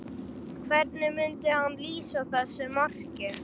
Hvernig myndi hann lýsa þessu marki?